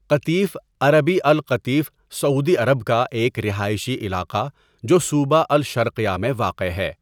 Qatif عربی Al Qatif Saudi Arab کا ایک رہائشی علاقہ جو صوبہ الشرقیہ میں واقع ہے.